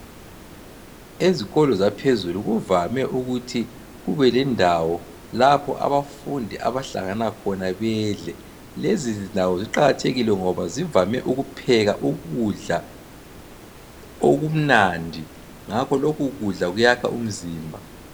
ezikolo zaphezulu kuvame ukuthi kube lendawo lapho abafundi abahlangana khona bedle lezi ndawo ziqakathekile ngoba zivame ukupheka ukudla okumnandi ngakho lokhu kudla kuyakha umzimba